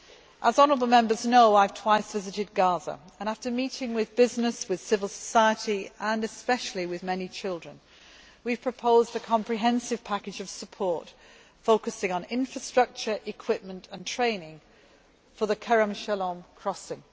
As honourable Members know, I have twice visited Gaza and, after meeting with business, with civil society and especially with many children, we have proposed a comprehensive package of support, focusing on infrastructure, equipment and training for the Kerem Shalom crossing.